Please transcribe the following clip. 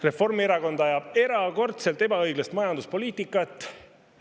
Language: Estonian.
Reformierakond ajab erakordselt ebaõiglast majanduspoliitikat.